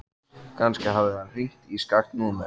Kannski hafði hann hringt í skakkt númer.